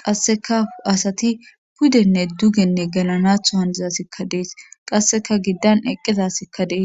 qasseka asati pudenne dugenne galanatho handizasikka dees qasseka giddan eqqizasikka deees.